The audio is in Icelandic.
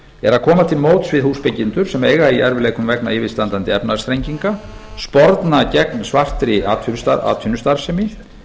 er að koma til móts við húsbyggjendur sem eiga í erfiðleikum vegna yfirstandandi efnahagsþrenginga sporna gegn svartri atvinnustarfsemi